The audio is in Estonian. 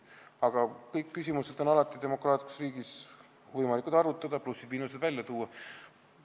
Aga kõiki küsimusi on demokraatlikus riigis alati võimalik arutada ning plussid ja miinused välja tuua.